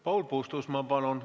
Paul Puustusmaa, palun!